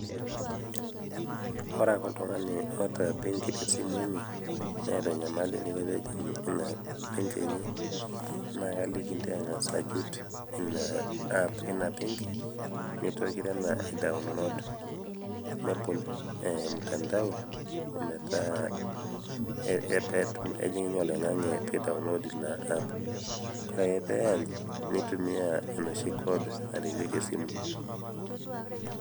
ore ake oltung'ani otaa embenki te simu enye netaa enyamali eniko pejing' ena benki enye nakaliki ntai inacircute ena benki nebol ina app ina benki nitoki tena aidownload nebol mtandao metaa kejing' ninye oloing'ang'e pidownload inaapp wore ake peany nitumia enoshi code nareyieki esimu